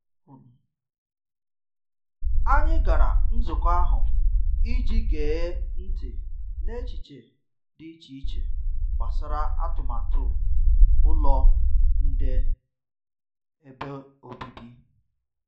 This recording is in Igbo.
Anyị gara nzukọ ahụ i ji gee ntị n’echiche dị iche iche gbasara atụmatụ ulọ nde ebe obibi.